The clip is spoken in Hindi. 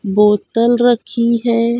बोतल रखी हुई है।